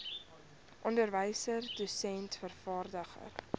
onderwyser dosent vervaardiger